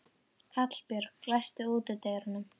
Hallbjörg, læstu útidyrunum.